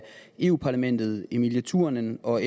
europa parlamentet emilie turunen og